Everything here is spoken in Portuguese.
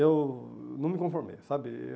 eu não me conformei, sabe?